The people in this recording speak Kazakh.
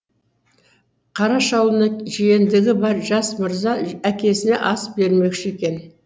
қараш аулына жиендігі бар жас мырза әкесіне ас бермекші екен